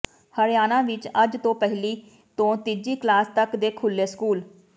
ਹਰਿਆਣਾ ਵਿੱਚ ਅੱਜ ਤੋਂ ਪਹਿਲੀ ਤੋਂ ਤੀਜੀ ਕਲਾਸ ਤੱਕ ਦੇ ਖੁੱਲ੍ਹੇ ਸਕੂਲ